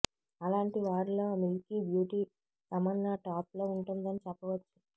అలాంటి వారిలో milky beauty Tamannaah top లో ఉంటుందని చెప్పవచ్చు